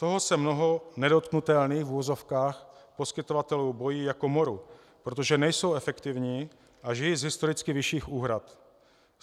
Toho se mnoho nedotknutelných, v uvozovkách, poskytovatelů bojí jako moru, protože nejsou efektivní a žijí z historicky vyšších úhrad.